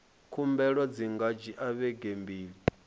khumbelo dzi nga dzhia vhege mbili